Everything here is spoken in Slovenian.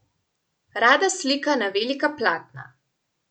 Rada slika na velika platna.